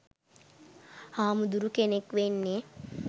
හාමුදුරු කෙනෙක් වෙන්නේ